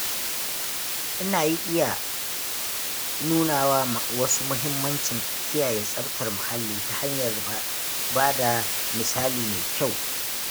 Ina iya nuna wa wasu mahimmancin kiyaye tsaftar muhalli ta hanyar ba da misali mai kyau.